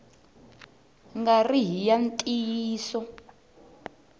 nga ri hi ya ntiyiso